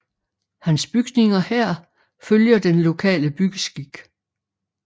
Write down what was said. Hans bygninger her følger den lokale byggeskik